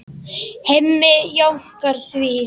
Hemmi jánkar því.